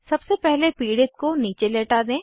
सबसे पहले पीड़ित को नीचे लेटा दें